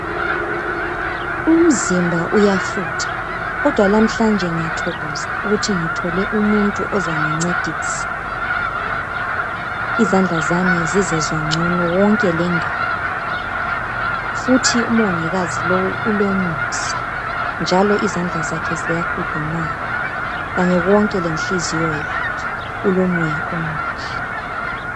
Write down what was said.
Umzimba uyafutha, kodwa lamhlanje ngiyathokoza ukuthi ngithole umuntu ozangincedisa. Izandla zami zizezwa ngcono konke le ngalo. Futhi umongikazi lowu ulo muthi njalo izandla zakhe ziyakhudumala kanye konke lenhliziyo yakhe ulomoya omuhle.